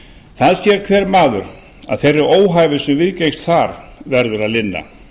það sér hver maður að þeirri óhæfu sem viðgengst þar verður að linna